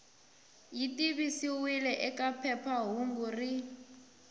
yi tivisiwile eka phephahungu rin